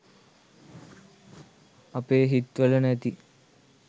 අපේ හිත් වල නැති